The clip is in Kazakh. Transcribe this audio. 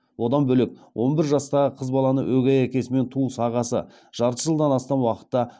одан бөлек он бір жастағы қыз баланы өгей әкесі мен туыс ағасы жарты жылдан астам уақытта